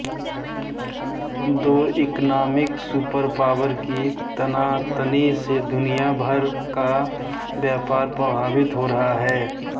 दो economic superpower की तनातनी से दुनिया भर का व्यापार प्रभावित हो रहा है